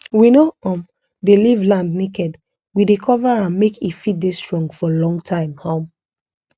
we no um dey leave land naked we dey cover am make e fit dey strong for long time um